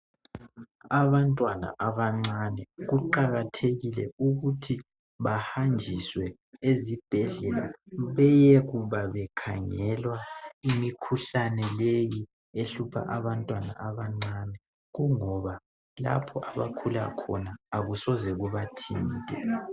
Abantwana abancane kuqakathekile ukuthi bahanjiswe ezibhedlela beyekuba bekhangelwa imikhuhlane leyi ehlupha abantwana abancane kungoba lapho abakhula khona akusoze kubathinte.